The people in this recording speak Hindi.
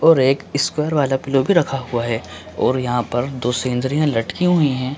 और एक ईस्क्वायर वाला पिलो भी रखा हुआ है और यहाँ पर दो सेंद्रियाँ लटकी हुईं हैं।